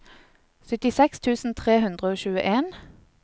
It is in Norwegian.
syttiseks tusen tre hundre og tjueen